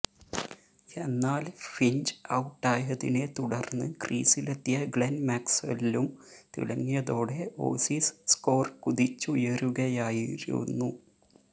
എന്നാൽ ഫിഞ്ച് ഔട്ടായതിനെ തുടർന്ന് ക്രീസിലെത്തിയ ഗ്ലെൻ മാക്സ്വെല്ലും തിളങ്ങിയതോടെ ഓസീസ് സ്കോർ കുതിച്ചുയരുകയായിരുന്നു